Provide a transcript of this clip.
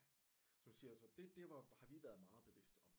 Som jeg siger så det har vi været meget bevidste om